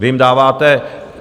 Vy jim dáváte...